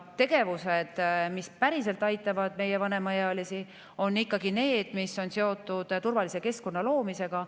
Tegevused, mis päriselt aitavad meie vanemaealisi, on ikkagi need, mis on seotud turvalise keskkonna loomisega.